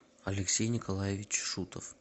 алексей николаевич шутов